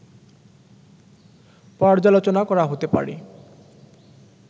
পর্যালোচনা করা হতে পারে